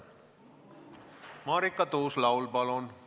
Marika Tuus-Laul, palun!